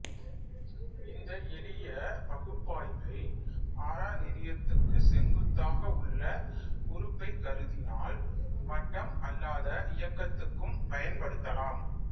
இந்த எளிய பகுப்பாய்வை ஆர நெறியத்துக்குச் செங்குத்தாக உள்ள உறுப்பைக் கருதினால் வட்டம் அல்லாத இயக்கத்துக்கும் பயன்படுத்தலாம்